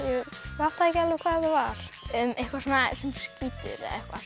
fattaði ekki alveg hvað var eitthvað svona sem skýtur